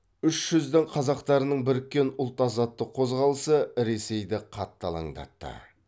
үш жүздің қазақтарының біріккен ұлт азаттық қозғалысы ресейді қатты алаңдатты